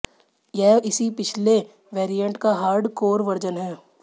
यह इसी पिछले वैरिएंट का हार्डकोर वर्जन है